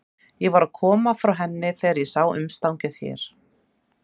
Ég var að koma frá henni þegar ég sá umstangið hér.